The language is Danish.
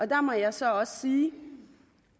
der må jeg så også sige